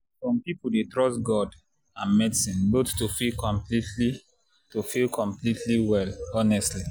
some people dey trust god and medicine both to feel completely to feel completely well honestly.